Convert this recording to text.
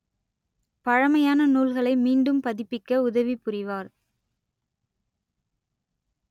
பழமையான நூல்களை மீண்டும் பதிப்பிக்க உதவிபுரிவார்